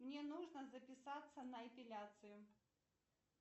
мне нужно записаться на эпиляцию